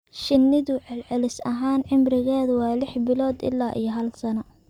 Shinnidu celcelis ahaan cimrigeedu waa lix bilood ilaa hal sano.